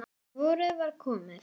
Vorið var komið.